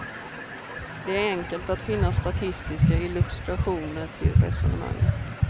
Det är enkelt att finna statistiska illustrationer till resonemanget.